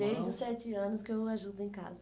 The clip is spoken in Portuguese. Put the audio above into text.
Desde os sete anos que eu ajudo em casa.